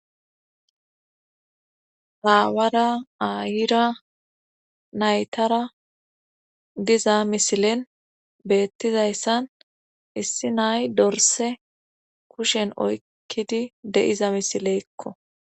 Haawara ahira naytara diza misilen beettizayssan issi nay dorse kushen oykkidi de7iza misileykko.